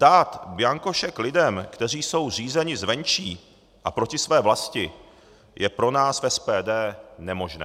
Dát bianko šek lidem, kteří jsou řízeni zvenčí a proti své vlasti, je pro nás v SPD nemožné.